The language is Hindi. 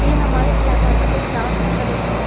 ए हमारे इलाका का एक डांस एकेडमी --